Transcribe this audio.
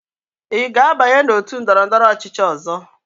Ị ga-abanye na otu ndọrọndọrọ ọchịchị ọzọ?